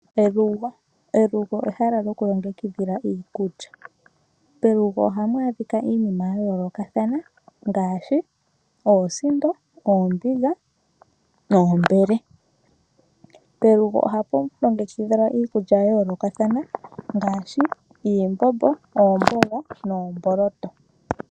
Elugo. Elugo ehala lyokulongekidhila iikulya. Pelugo ohapu adhika iinima ya yoolokathana ngaashi oosindo, oombiga noombele. Pelugo ohapu longekidhilwa iikulya ya yoolokathana ngaashi iimbombo, oomboga noomboloto.